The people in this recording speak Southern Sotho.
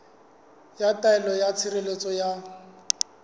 ya taelo ya tshireletso ya